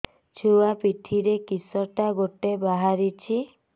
ଛୁଆ ପିଠିରେ କିଶଟା ଗୋଟେ ବାହାରିଛି